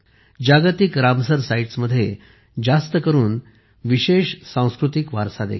जागतिक रामसर साइट्समध्ये जास्तकरून विशेष सांस्कृतिक वारसा देखील आहे